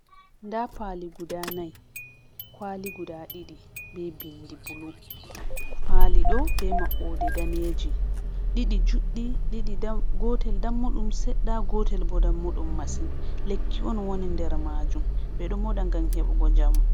Nda pali guda nai. Kwaali guda ɗiɗi, be bindi bulu. Paliɗo be maɓɓode daneeji. Ɗiɗi juɗɗi, ɗiɗi dam.... gotel dammuɗum seɗɗa. Gotel bo dammuɗum masin. Lekki on woni nder maajum. Ɓe ɗo moɗa ngam heɓugo njamu.